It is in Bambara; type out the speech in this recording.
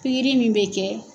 Pikiri min bɛ kɛ.